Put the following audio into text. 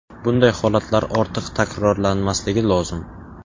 Bunday holatlar ortiq takrorlanmasligi lozim.